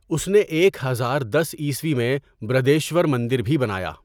اس نے ایک ہزار دس عیسوی میں برہدیشور مندر بھی بنایا۔